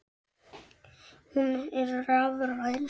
Hún er rafræn.